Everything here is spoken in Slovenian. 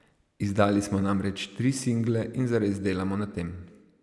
Izdali smo namreč tri single in zares delamo na tem.